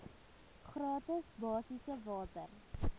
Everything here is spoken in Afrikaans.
gratis basiese water